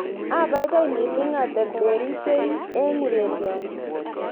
Abaibai missing aterterisye eng ureryoni